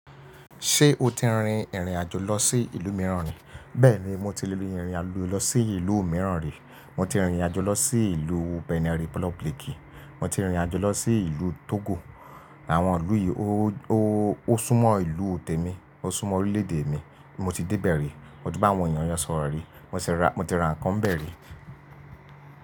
Ṣé o ti rin ìrìnàjò lọ sí ìlú mìíràn rí? Bẹ́ẹ̀ni mo ti rin ìrìnàjò lọ sí ìlú mìíràn rí. Mo ti rin ìrìnàjò lọ sí ìlú Benin Republic, mo ti rin ìrìnàjò lọ sí ìlú Togo. Àwọn ìlú yìí ó súnmọ́ ìlú te mi, ó súnmọ́ orílẹ̀ èdè mi. Mo ti dé bẹ̀ ri, mo ti bá àwọn èèyàn yen sọ̀rọ̀ rí, mo ti ra nǹkan bẹ̀ ri.